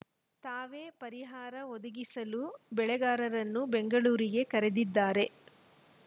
ತಾವೇ ಪರಿಹಾರ ಒದಗಿಸಲು ಬೆಳೆಗಾರರನ್ನು ಬೆಂಗಳೂರಿಗೆ ಕರೆದಿದ್ದಾರೆ